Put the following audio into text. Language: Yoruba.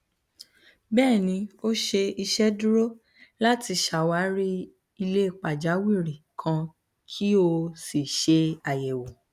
bẹẹni o ṣe iṣeduro lati ṣawari ile pajawiri kan ki o si ṣe ayẹwo